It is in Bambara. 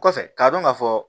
Kɔfɛ k'a dɔn ka fɔ